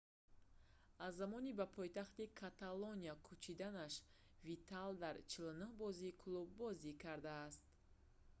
аз замони ба пойтахти каталония кӯчиданаш видал дар 49 бозии клуб бозӣ кардааст